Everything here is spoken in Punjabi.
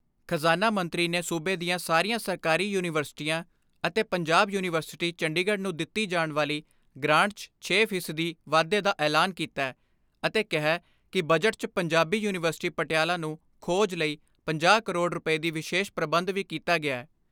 ਖਜ਼ਾਨਾ ਮੰਤਰੀ ਨੇ ਸੂਬੇ ਦੀਆਂ ਸਾਰੀਆਂ ਸਰਕਾਰੀ ਯੂਨੀਵਰਸਿਟੀਆਂ ਅਤੇ ਪੰਜਾਬ ਯੂਨੀਵਰਸਿਟੀ ਚੰਡੀਗੜ੍ਹ ਨੂੰ ਦਿੱਤੀ ਜਾਣ ਵਾਲੀ ਗਰਾਂਟ 'ਚ ਛੇ ਫ਼ੀ ਸਦੀ ਵਾਧੇ ਦਾ ਐਲਾਨ ਕੀਤੈ ਅਤੇ ਕਿਹੈ ਕਿ ਬਜਟ 'ਚ ਪੰਜਾਬੀ ਯੂਨੀਵਰਸਿਟੀ ਪਟਿਆਲਾ ਨੂੰ ਖੋਜ ਲਈ ਪੰਜਾਹ ਕਰੋੜ ਰੁਪਏ ਦੀ ਵਿਸ਼ੇਸ਼ ਪ੍ਰਬੰਧ ਵੀ ਕੀਤਾ ਗਿਐ।